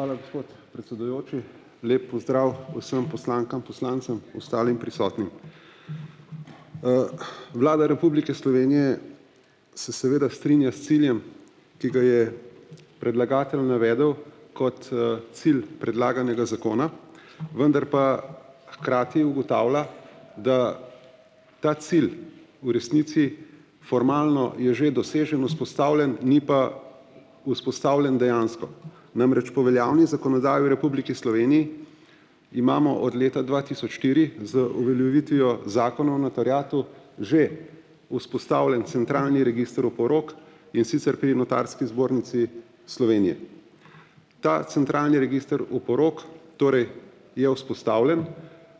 Hvala, gospod predsedujoči. Lep pozdrav vsem poslankam, poslancem, ostalim prisotnim. Vlada Republike Slovenije se seveda strinja s ciljem, ki ga je predlagatelj navedel, kot, cilj predlaganega zakona, vendar pa hkrati ugotavlja, da ta cilj v resnici formalno je že dosežen, vzpostavljen, ni pa vzpostavljen dejansko. Namreč po veljavni zakonodaji v Republiki Sloveniji imamo od leta dva tisoč štiri z uveljavitvijo že vzpostavljen centralni register oporok, in sicer pri Notarski zbornici Slovenije. Ta centralni register oporok, torej je vzpostavljen,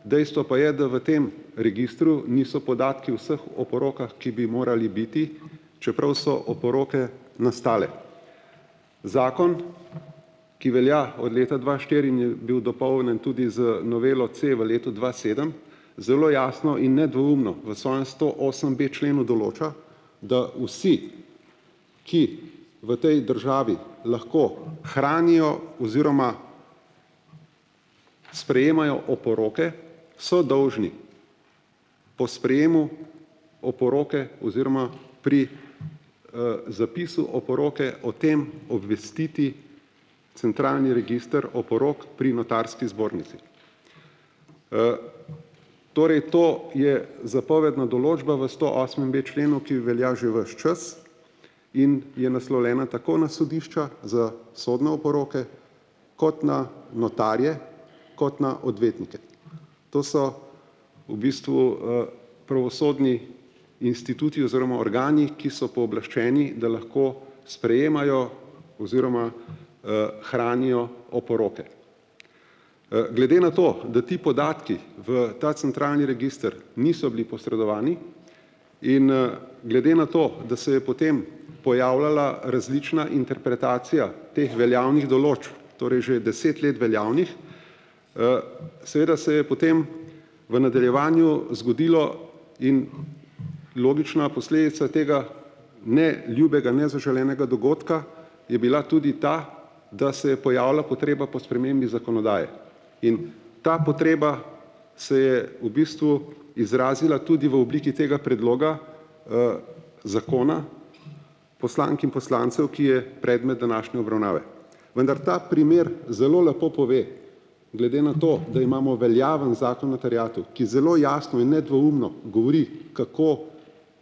dejstvo pa je, da v tem registru niso podatki vseh oporokah, ki bi morali biti, čeprav so oporoke nastale. Zakon, ki velja od leta dva štiri in je bil dopolnjen tudi z novelo c v letu dva sedem, zelo jasno in nedvoumno v svojem sto osem b členu določa, da vsi, ki v tej državi lahko hranijo oziroma sprejemajo oporoke, so dolžni po sprejemu oporoke oziroma pri, zapisu oporoke o tem obvestiti centralni register oporok pri Notarski zbornici. Torej, to je zapovedna določba v sto osmem b členu, ki velja že ves čas, in je naslovljena tako na sodišča za sodne oporoke, kot na notarje, kot na odvetnike. To so v bistvu, pravosodni instituti oziroma organi, ki so pooblaščeni, da lahko sprejemajo oziroma, hranijo oporoke. glede na to, da ti podatkih v ta centralni register niso bili posredovani, in, glede na to, da se je potem pojavljala različna interpretacija teh veljavnih določil, torej že deset let veljavnih, seveda se je potem v nadaljevanju zgodilo in logična posledica tega neljubega, nezaželenega dogodka je bila tudi ta, da se je pojavila potreba po spremembi zakonodaje. In ta potreba se je v bistvu izrazila tudi v obliki tega predloga, zakona, poslank in poslancev, ki je predmet današnje obravnave. Vendar ta primer zelo lepo pove, glede na to, da imamo veljaven zakon o terjatvah, ki zelo jasno in nedvoumno govori, kako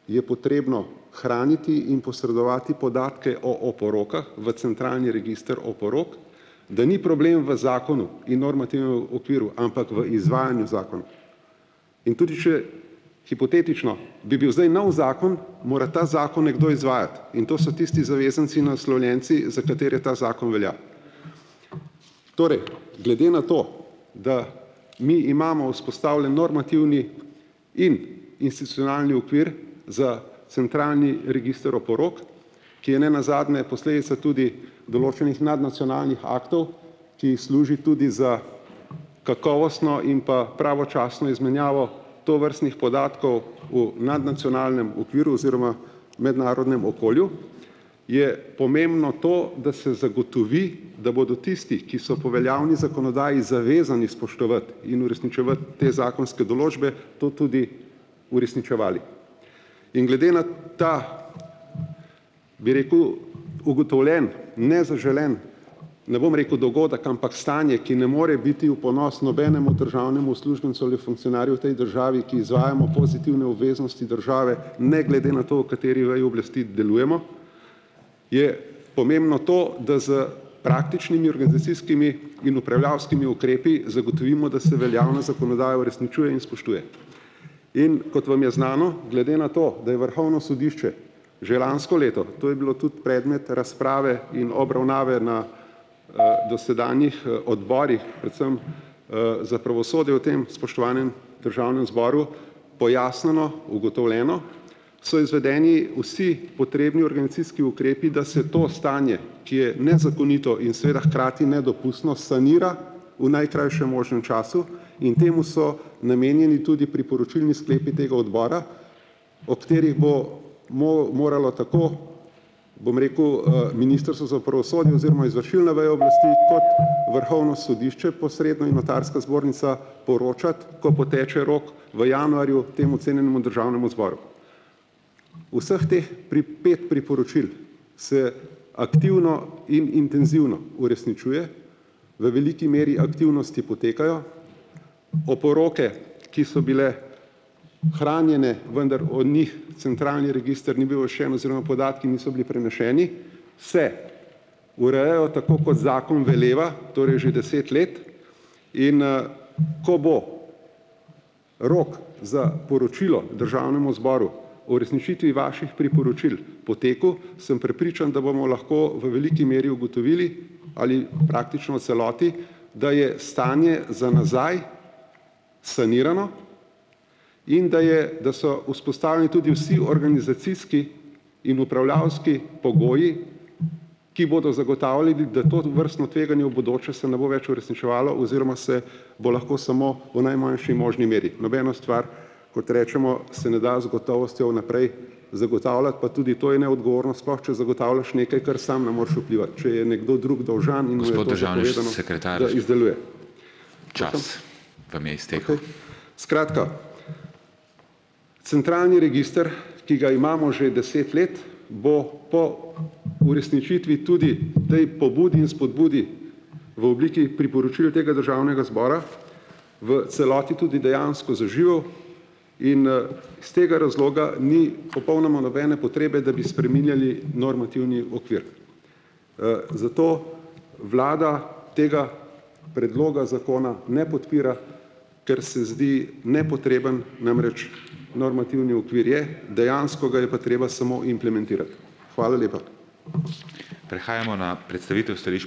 je potrebno hraniti in posredovati podatke o oporokah v centralni register oporok, da ni problem v zakonu, okviru, ampak v izvajanju zakona. In tudi če hipotetično bi bil zdaj novi zakon, mora ta zakon nekdo izvajati, in to so tisti zavezanci, naslovljenci, za katere ta zakon velja. Torej, glede na to, da mi imamo vzpostavljen normativni in okvir za centralni register oporok, ki je nenazadnje posledica tudi določenih nadnacionalnih aktov, ki služi tudi za kakovostno im pa pravočasno izmenjavo tovrstnih podatkov v nadnacionalnem okviru oziroma mednarodnem okolju, je pomembno to, da se zagotovi, da bodo tisti, ki so po veljavni zakonodaji zavezani spoštovati in uresničevati te zakonske določbe, to tudi uresničevali. In glede na ta, bi rekel, ugotovljen, nezaželen, ne bom rekel dogodek, ampak stanje, ki ne more biti v ponos nobenemu državnemu uslužbencu ali funkcionarju v tej državi, ki izvajamo pozitivne obveznosti države, ne glede na to, v kateri veji oblasti delujemo, je pomembno to, da s praktičnimi in upravljavskimi ukrepi zgotovimo, da se veljavna zakonodaja uresničuje in spoštuje. In kot vam je znano, glede na to, da je Vrhovno sodišče že lansko leto, to je bilo tudi predmet razprave in obravnave na, dosedanjih, odborih, predvsem, za pravosodje v tem spoštovanem državnem zboru, pojasnjeno, ugotovljeno, so izvedeni vsi potrebni organizacijski ukrepi, da se to stanje, ki je nezakonito in seveda hkrati nedopustno, sanira v najkrajšem času in temu so namenjeni tudi priporočilni sklepi tega odbora, o katerih bo moralo tako, bom rekel, Ministrstvo za pravosodje oziroma izvršilna veja oblesti kot Vrhovno sodišče posredno in Notarska zbornica poročati, ko poteče rok v januarju temu cenjenemu državnemu zboru. Vseh teh pet priporočil se aktivno in intenzivno uresničuje, v veliki meri aktivnosti potekajo, oporoke, ki so bile hranjene, vendar o njih centralni register ni bil oziroma podatki niso bili preneseni, se urejajo tako, kot zakon veleva, torej že deset let, in, ko bo rok za poročilo državnemu zboru uresničitvi vaših priporočil potekel, sem prepričan, da bomo lahko v veliki meri ugotovili ali praktično v celoti, da je stanje za nazaj sanirano in da je, da so tudi vsi organizacijski in upravljavski pogoji, ki bodo zgotavljali, da tovrstno tveganje v bodoče se ne bo več uresničevalo oziroma se bo lahko smo v najmanjši možni meri. Nobeno stvar, kot recimo, se ne da z gotovostjo vnaprej zagotavljati, pa tudi to je neodgovorno, sploh če zgotavljaš nekaj, kar sam ne moreš vplivati. Če je nekdo drug dolžan. Skratka, centralni register, ki ga imamo že deset let, bo po uresničitvi tudi tej pobudi in spodbudi v obliki priporočil tega državnega zbora v celoti tudi dejansko zaživel in, iz tega razloga ni popolnoma nobene potrebe, da bi spreminjali normativni okvir. zato vlada tega predloga zakona ne podpira, ker se zdi nepotreben, namreč normativni okvir je, dejansko ga je pa treba smo implementirati. Hvala lepa.